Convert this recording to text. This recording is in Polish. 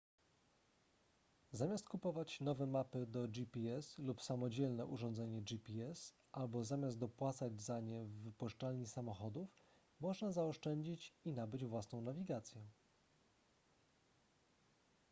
zamiast kupować nowe mapy do gps lub samodzielne urządzenie gps albo zamiast dopłacać za nie w wypożyczalni samochodów można zaoszczędzić i nabyć własną nawigację